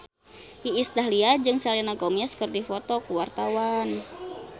Iis Dahlia jeung Selena Gomez keur dipoto ku wartawan